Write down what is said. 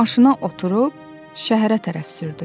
Maşına oturub şəhərə tərəf sürdü.